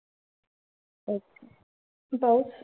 Okay. बस.